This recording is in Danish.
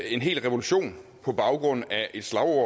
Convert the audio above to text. en hel revolution på baggrund af et slagord